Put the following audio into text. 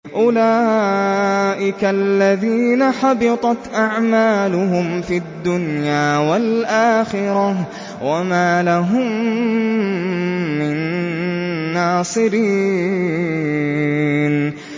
أُولَٰئِكَ الَّذِينَ حَبِطَتْ أَعْمَالُهُمْ فِي الدُّنْيَا وَالْآخِرَةِ وَمَا لَهُم مِّن نَّاصِرِينَ